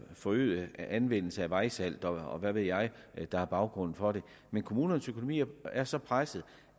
forøget anvendelse af vejsalt og hvad ved jeg der er baggrunden for det men kommunernes økonomi er så presset